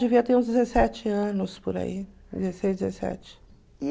Devia ter uns dezessete anos por aí. Dezesseis, dezessete